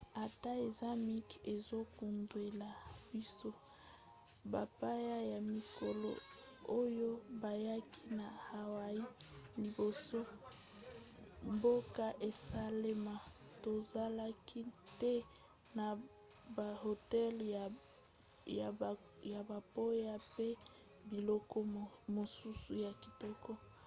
ata eza mike ezokundwela biso bapaya ya mikolo oyo bayaki na hawaii liboso mboka esalaema tozalaki te na bahotel ya bapaya pe biloko mosusu ya kitoko